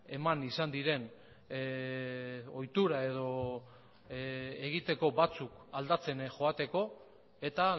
eman izan diren ohitura edo egiteko batzuk aldatzen joateko eta